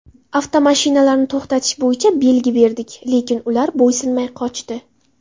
Avtomashinalarni to‘xtatish bo‘yicha belgi berdik, lekin ular bo‘ysunmay qochdi.